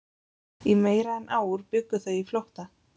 Í meira en ár bjuggu þau í flótta